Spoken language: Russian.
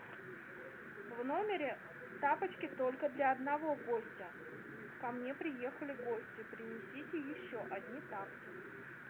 в номере тапочки только для одного гостя ко мне приехали гости принесите еще одни тапки